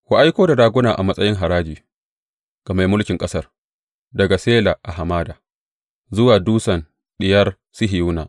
Ku aiko da raguna a matsayin haraji ga mai mulkin ƙasar, daga Sela a hamada, zuwa dutsen Diyar Sihiyona.